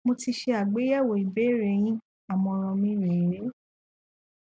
mo ti ṣe àgbéyẹwò ìbéèrè yin àmọràn mi rè é